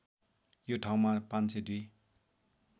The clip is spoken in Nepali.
यो ठाउँमा ५०२